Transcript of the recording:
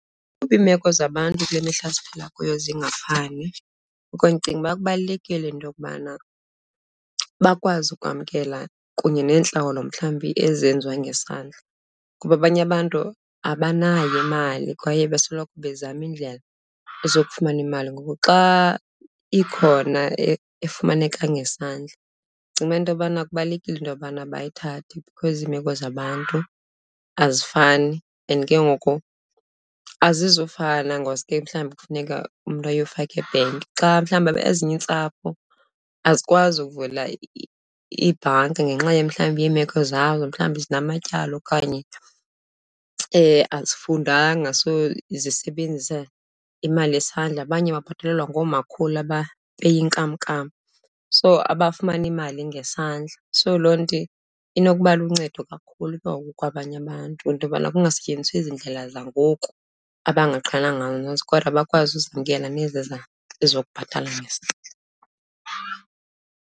Kuba iimeko zabantu kule mihla siphila kuyo zingafani, ngoku ndicinga uba kubalulekile into yokubana bakwazi ukwamkela kunye neentlawulo mhlawumbi ezenziwa ngesandla. Kuba abanye abantu abanayo imali kwaye besoloko bezama iindlela zokufumana imali. Ngoku xa ikhona efumaneka ngesandla, ndicinga into yobana kubalulekile into yobana bayithathe because iimeko zabantu azifani and ke ngoku azizufana ngosuke mhlawumbi kufuneka umntu ayofaka ebhenki. Xa mhlawumbi, ezinye iintsapho azikwazi ukuvula ibhanki ngenxa mhlawumbi iimeko zabo, mhlawumbi zinamatyala okanye azifundanga, so zisebenzisa imali yesandla. Abanye babhatalelwa ngoomakhulu abapeya inkamnkam, so abafumana imali ngesandla. So loo nto inokuba luncedo kakhulu ke ngoku kwabanye abantu, into yobana kungasetyenziswa ezi ndlela zangoku abangaqhelanga kodwa bakwazi uzamkela nezi ezokubhatala ngesandla.